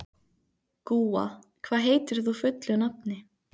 Gúa, hvað heitir þú fullu nafni?